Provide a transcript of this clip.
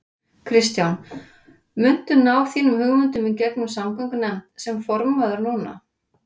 Kristján: Muntu ná þínum hugmyndum í gegnum samgöngunefnd sem formaður núna?